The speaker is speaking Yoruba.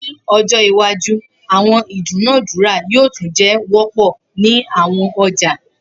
Ni ojo iwaju awọn idunadura yoo tun jẹ wọpọ ni awọn ọja